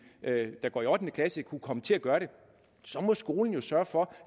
der går i ottende klasse kunne komme til at gøre det så må skolen jo sørge for